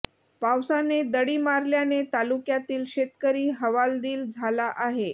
पावसाने दडी मारल्याने तालुक्यातील शेतकरी हवालदिल झाला आहे